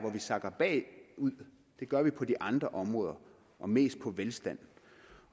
vi sakker bagud det gør vi på de andre områder og mest på velstand